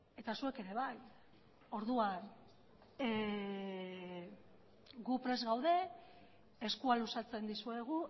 eta zuek ere bai orduan gu prest gaude eskua luzatzen dizuegu